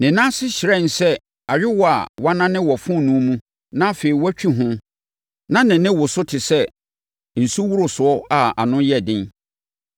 Ne nan ase hyerɛnee sɛ ayowaa a wɔanane wɔ fononoo mu na afei wɔatwi ho na ne nne woro so te sɛ nsuworosoɔ a ano yɛ den.